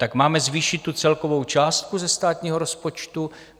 Tak máme zvýšit tu celkovou částku ze státního rozpočtu?